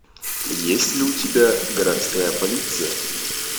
есть ли у тебя городская полиция